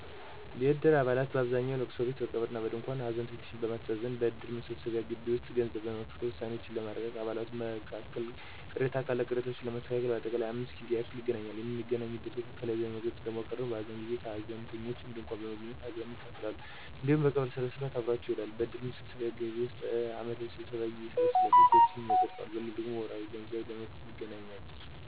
የእድር አባላት በአብዛኛው በእልቅሶ ጊዜ፦ በቀብር እና በድንኳን ሀዘንተኞችን ለማስተዛዘን፣ በእድር መሰብሰቢያ ግቢ ውስጥ ገንዘብ ለመክፈል፣ ውሳኔዎችን ለማርቀቅ፣ በአባላቱም መካከል ቅሬታ ካለ ቅሬታዎችን ለማስተካከል በአጠቃላይም 5 ጊዜ ያህል ይገናኛሉ። በሚገናኙበት ወቅትም ከላይ ለመግለጽ እንደሞከርኩት በሀዘን ጊዜ ከሀዘንተኞች ድንኳን በመገኘት ሀዘናቸውን ይካፈላሉ እንዲሁም በቀብር ሰዓት አብረዋቸው ይውላሉ። በእድር መሰብሰቢያ ግቢ ውስጥም በአመታዊ ስብሰባ ጊዜ ይሰበሰባሉ፤ ህጎችንም ያፀድቃሉ። በሌላው ደግሞ ወርሀዊ ገንዘብ ለመክፈል ይገናኛሉ።